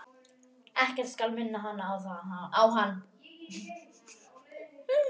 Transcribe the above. Ekkert skal minna hana á hann.